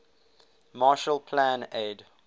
marshall plan aid